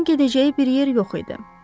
Onun gedəcəyi bir yer yox idi.